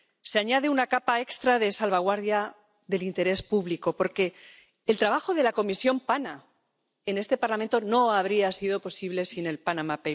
Se añade una capa extra de salvaguardia del interés público, porque el trabajo de la Comisión de investigación PANA en este Parlamento no habría sido posible sin los papeles de Panamá.